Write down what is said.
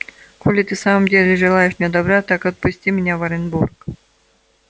коли ты в самом деле желаешь мне добра так отпусти меня в оренбург